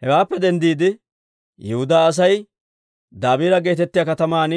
Hewaappe denddiide Yihudaa Asay Dabiira geetettiyaa kataman